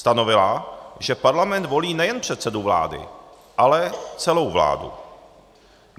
Stanovila, že parlament volí nejen předsedu vlády, ale celou vládu.